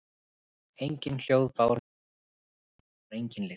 Engin hljóð bárust inn í klefann og þar var engin lykt.